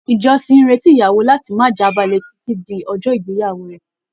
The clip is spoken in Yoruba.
Ìjọsìn n retí ìyàwó láti má j'abale titi di ọjọ ìgbéyàwó rẹ.